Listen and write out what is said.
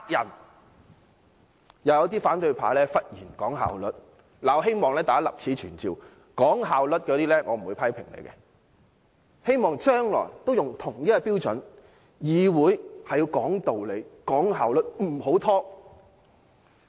又有一些反對派議員忽然講求效率，我希望立此存照，那些講求效率的議員，我不會批評，但希望將來都用同一標準對待所有議員。